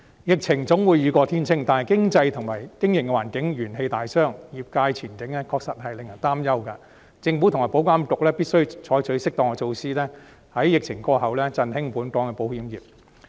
疫情總會雨過天晴，但經濟和經營環境元氣大傷，業界前景確實令人擔憂，政府和保險業監管局必須採取適當的措施，在疫情過後，振興本港的保險業。